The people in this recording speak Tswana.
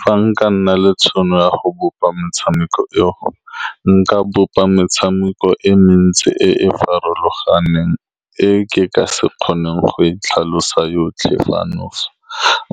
Fa nka nna le tšhono ya go bopa motshameko e go, nka bopa metshameko e mentsi e e farologaneng e ke ka se kgoneng go e tlhalosa yotlhe fa nofa,